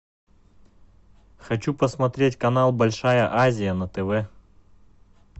хочу посмотреть канал большая азия на тв